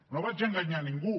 no vaig enganyar ningú